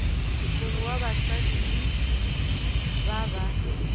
mongwe wa basadi ba ba